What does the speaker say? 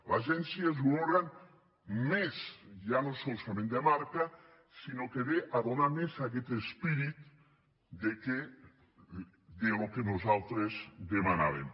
l’agència és un òrgan més ja no solament de marca sinó que ve a donar més aquest esperit del que nosaltres demanàvem